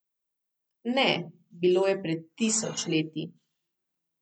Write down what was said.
Ne, bilo je pred tisoč leti.